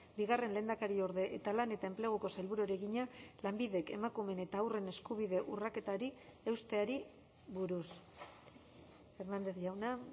bigarren lehendakariorde eta lan eta enpleguko sailburuari egina lanbidek emakumeen eta haurren eskubide urraketari eusteari buruz hernández jauna